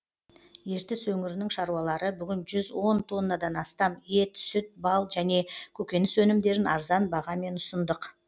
ертіс өңірінің шаруалары бүгін жүз он тоннадан астам ет сүт бал және көкөніс өнімдерін арзан бағамен ұсындық